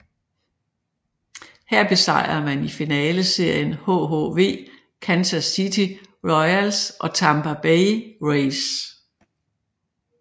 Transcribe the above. Her besejrede man i finaleserien hhv Kansas City Royals og Tampa Bay Rays